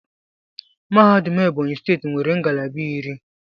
Mahadum Ebonyi steeti nwere ngalaba iri.